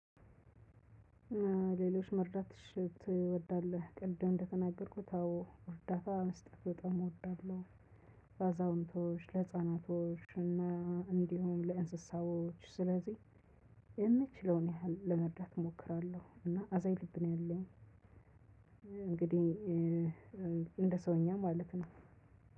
ሌሎች መርዳት ትወዳለህ ቅድም እንደተናገርኩት አዎ እርዳታ መስጠት በጣም እወዳለው። ለአዛውንቶች ለህፃናቶች እና እንዲሁም ለእንስሳዎች ስለዚህ የምችለውን ያህል ለመርዳት እሞክራለሁ እና አዛኝ ልብ ነው ያለኝ። እንግዲህ እንደ ሰውኛ ማለት ነው።